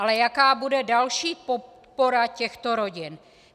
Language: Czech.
Ale jaká bude další podpora těchto rodin?